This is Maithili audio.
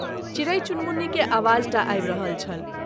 चिड़ैइ-चुनमुन्नी के आवाज टा आबि रहल छल।